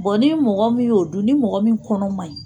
ni mɔgɔ min ye o dun ni mɔgɔ min kɔnɔ man ɲi.